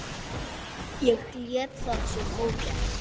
Ég lét það samt ógert.